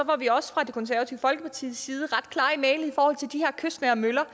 var vi også fra det konservative folkepartis side ret klare i mælet i forhold til de her kystnære møller